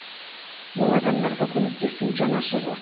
ол адамдарға көмектесу жанашырлық